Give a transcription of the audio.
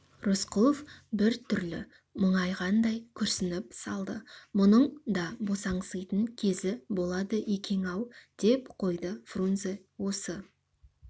рысқұлов бір түрлі мұңайғандай күрсініп салды мұның да босаңситын кезі болады екен-ау деп қойды фрунзе осы